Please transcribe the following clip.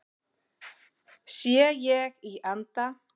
Sé ég í anda